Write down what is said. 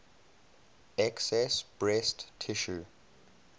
excess breast tissue